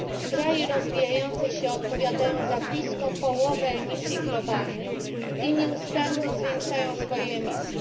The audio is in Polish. Kraje rozwijające się odpowiadają za blisko połowę emisji globalnych i nieustannie zwiększają swoje emisje.